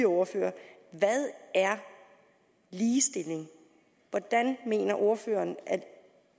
ordførere hvad er ligestilling hvordan mener ordføreren